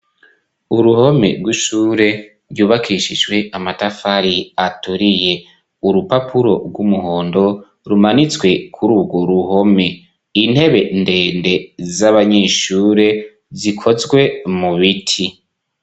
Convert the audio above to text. Uruhome rw'ishure ryubakishijwe amatafari aturiye; urupapuro rw'umuhondo rumanitswe kuri urwo ruhome; intebe ndende z'abanyeshure zikozwe mu biti.